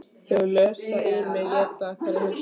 Þau lesa í mig, éta hverja hugsun.